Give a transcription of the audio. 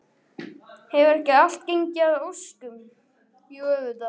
Hefur ekki allt gengið að óskum, jú auðvitað.